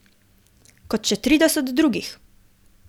Kot še trideset drugih.